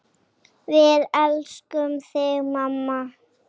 Við elskum þig, mamma.